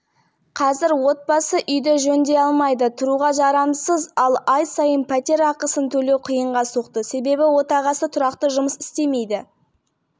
төрт балам бар үлкені отан алдындағы борышын өтеп жатыр бір балам топ мүгедегі жайсаң мектеп-интернатында білім